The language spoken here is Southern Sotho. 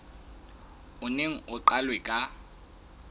o neng o qalwe ka